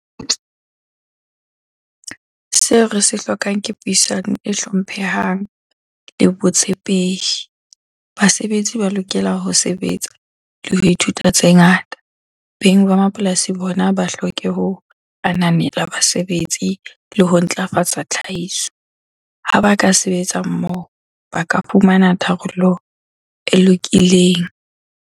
Seo re se hlokang ke puisano e hlomphehang le botshepehi. Basebetsi ba lokela ho sebetsa le ho ithuta tse ngata. Beng ba mapolasi bona ba hloke ho ananela basebetsi le ho ntlafatsa tlhahiso. Ha ba ka sebetsa mmoho ba ka fumana tharollo e lokileng.